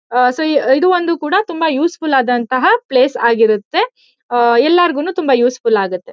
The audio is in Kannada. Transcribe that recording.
ಸೊ ಇದು ಒಂದು ಕೂಡ ತುಂಬಾ ಯೂಸುಫುಲ್ ಆದಂಥ ಪ್ಲೇಸ್ ಆಗಿರುತ್ತೆ. ಎಲ್ಲರಗೂನು ತುಂಬಾ ಯೂಸುಫುಲ್ ಆಗುತ್ತೆ.